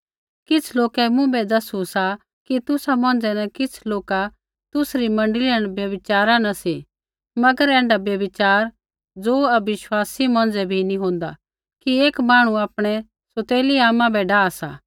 किछ़ लोकै मुँभै दसू सा कि तुसा मौंझ़ै न किछ़ लोका तुसरी मण्डली न व्यभिचारा न सी मगर ऐण्ढा व्यभिचार ज़ो अविश्वासी मौंझ़ै भी नी होन्दा कि एक मांहणु आपणै सौतेली आमा बै डाह सा